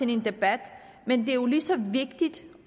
en debat men det er jo lige så vigtigt